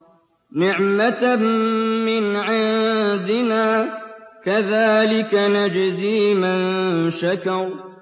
نِّعْمَةً مِّنْ عِندِنَا ۚ كَذَٰلِكَ نَجْزِي مَن شَكَرَ